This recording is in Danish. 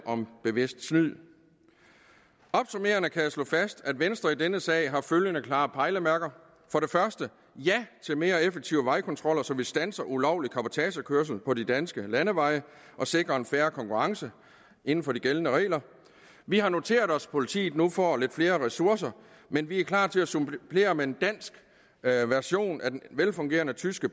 om bevidst snyd opsummerende kan jeg slå fast at venstre i denne sag har følgende klare pejlemærker for det første siger ja til mere effektive vejkontroller så vi standser ulovlig cabotagekørsel på de danske landeveje og sikrer en fair konkurrence inden for de gældende regler vi har noteret os at politiet nu får flere ressourcer men vi er klar til at supplere med en dansk version af den velfungerende tyske